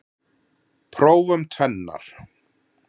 Prófum tvennar.